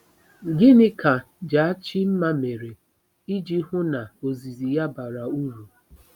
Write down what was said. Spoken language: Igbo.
Gịnị ka Jachimma mere iji hụ na ozizi ya bara uru?